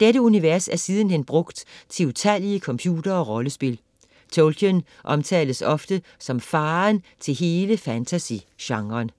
Dette univers er sidenhen brugt til utallige computer- og rollespil. Tolkien omtales ofte som faderen til hele fantasy-genren.